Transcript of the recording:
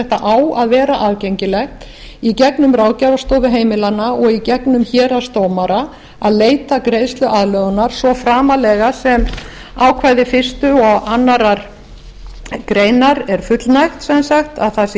á að vera aðgengilegt í gegnum ráðgjafarstofa heimilanna og gegnum héraðsdómara að leita greiðsluaðlögunar svo framarlega sem ákvæði fyrstu og aðra grein er fullnægt sem sagt að það sé